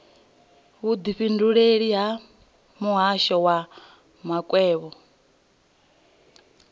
vhudifhinduleleli ha muhasho wa makwevho